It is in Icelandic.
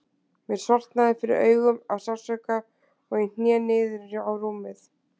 Mér sortnaði fyrir augum af sársauka og ég hné niður á rúmið.